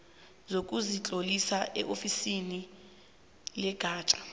sokuzitlolisa eofisini legatja